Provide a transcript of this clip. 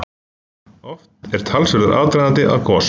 Oft er talsverður aðdragandi að gosum.